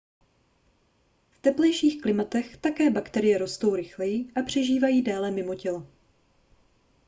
v teplejších klimatech také bakterie rostou rychleji a přežívají déle mimo tělo